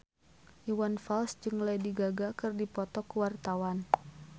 Iwan Fals jeung Lady Gaga keur dipoto ku wartawan